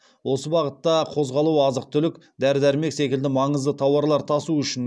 осы бағытта қозғалу азық түлік дәрі дәрмек секілді маңызды тауарлар тасу үшін